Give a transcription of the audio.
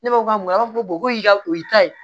Ne b'a fɔ ko a ma fɔ ka o y'i ta ye